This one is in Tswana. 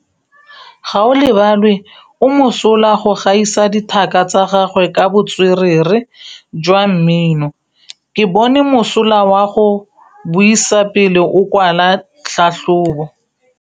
Gaolebalwe o mosola go gaisa dithaka tsa gagwe ka botswerere jwa mmino. Ke bone mosola wa go buisa pele o kwala tlhatlhobô.